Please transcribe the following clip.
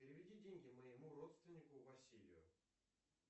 переведи деньги моему родственнику василию